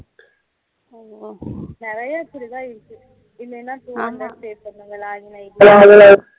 ஹம் நிறைய இப்படி தான் இருக்கு இல்லனா two hundred pay பண்ணனும் இந்த login id க்கு